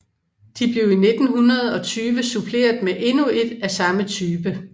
De blev i 1920 suppleret med endnu et af samme type